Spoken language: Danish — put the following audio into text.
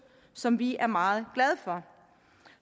som vi er meget glade for